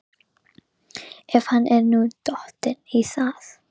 Ef hann er nú dottinn í það?